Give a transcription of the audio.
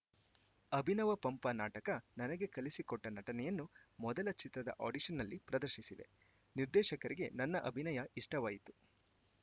ಅಭಿನವ ಪಂಪ ನಾಟಕ ನನಗೆ ಕಲಿಸಿಕೊಟ್ಟನಟನೆಯನ್ನು ಮೊದಲ ಚಿತ್ರದ ಆಡಿಷನ್‌ನಲ್ಲಿ ಪ್ರದರ್ಶಿಸಿದೆ ನಿರ್ದೇಶಕರಿಗೆ ನನ್ನ ಅಭಿನಯ ಇಷ್ಟವಾಯಿತು